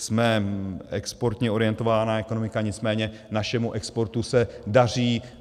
Jsme exportně orientovaná ekonomika, nicméně našemu exportu se daří.